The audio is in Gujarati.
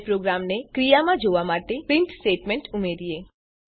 હવે પ્રોગ્રામને ક્રિયામાં જોવા માટે પ્રીંટ સ્ટેટમેંટ ઉમેરીએ